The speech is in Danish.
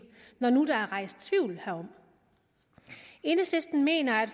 når der nu er rejst tvivl herom enhedslisten mener at